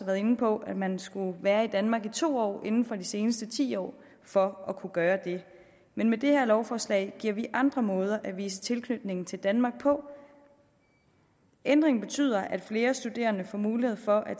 været inde på at man skulle være i danmark i to år inden for de seneste ti år for at kunne gøre det men med det her lovforslag giver vi andre måder at vise tilknytning til danmark på ændringen betyder at flere studerende får mulighed for at